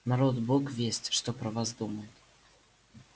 народ бог весть что про вас подумает